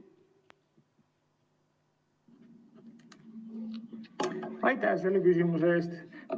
Aitäh selle küsimuse eest!